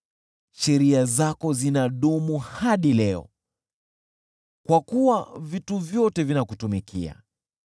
Sheria zako zinadumu hadi leo, kwa kuwa vitu vyote vinakutumikia.